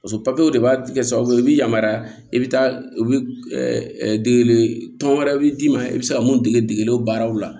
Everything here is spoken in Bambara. Paseke de b'a kɛ sababu ye i bɛ yamaruya i bɛ taa u bɛ dege tɔn wɛrɛ bɛ d'i ma i bɛ se ka mun dege degeli baaraw la